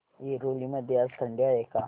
ऐरोली मध्ये आज थंडी आहे का